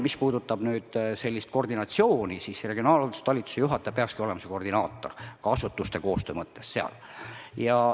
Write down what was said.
Mis puudutab nüüd koordinatsiooni, siis regionaalhalduse talituse juhataja peakski olema seal koordinaator ka asutuste koostöö mõttes.